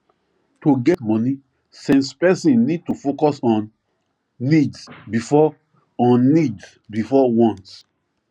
to get money sense person need to focus on needs before on needs before wants